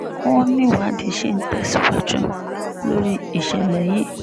wọ́n níwádìí ṣì ń tẹ̀síwájú lórí ìṣẹ̀lẹ̀ yìí